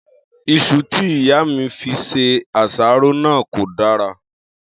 Is̩u tí ìyá mi fi se àsáró náà kò dára